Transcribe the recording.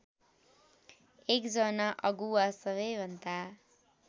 एकजना अगुवा सबैभन्दा